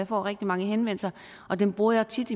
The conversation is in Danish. får rigtig mange henvendelser og dem bruger jeg tit